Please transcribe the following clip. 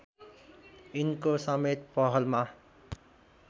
यिनको समेत पहलमा